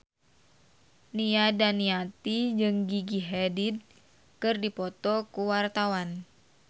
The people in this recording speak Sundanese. Nia Daniati jeung Gigi Hadid keur dipoto ku wartawan